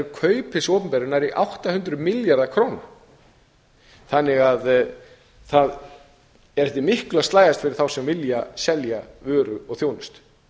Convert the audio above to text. kaup hins opinbera nær átta hundruð milljarðar króna þannig að það er eftir miklu að slægjast fyrir þá sem vilja selja vöru og þjónustu